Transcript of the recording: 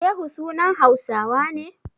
Shehu sunan Hausawa ne?